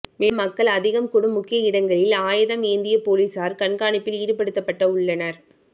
மேலும் மக்கள் அதிகம் கூடும் முக்கிய இடங்களில் ஆயதம் ஏந்திய போலீசார் கண்காணிப்பில் ஈடுபடுத்தப்பட்டு உள்ளனர்